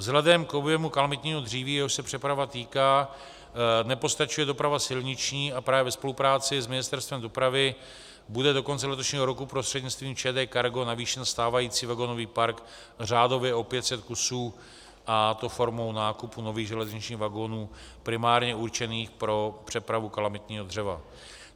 Vzhledem k objemu kalamitního dříví, jehož se přeprava týká, nepostačuje doprava silniční a právě ve spolupráci s Ministerstvem dopravy bude do konce letošního roku prostřednictvím ČD Cargo navýšen stávající vagonový park řádově o 500 kusů, a to formou nákupu nových železničních vagonů primárně určených pro přepravu kalamitního dřeva.